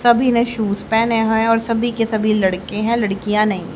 सभी ने शूज पहने हैं और सभी के सभी लड़के हैं लड़कियां नहीं।